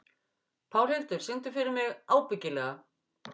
Pálhildur, syngdu fyrir mig „Ábyggilega“.